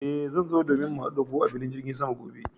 Eh, zan zo domin mu hadu da ku a filin jirgin sama gobe.